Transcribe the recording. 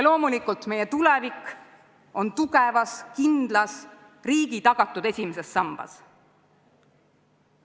Loomulikult, meie tulevik on tugevas, kindlas, riigi tagatud esimeses sambas.